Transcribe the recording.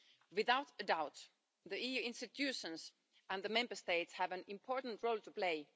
Without a doubt, the EU institutions and the Member States have an important role to play